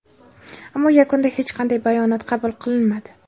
ammo yakunda hech qanday bayonot qabul qilinmadi.